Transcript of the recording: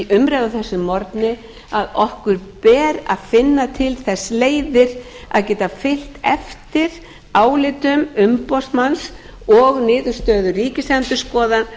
umræðu á þessum morgni að okkur ber að finna til þess leiðir að geta fylgt eftir álitum umboðsmanns og niðurstöðu ríkisendurskoðunar